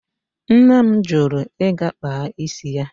Nne m jụrụ ịga kpaa isi ya.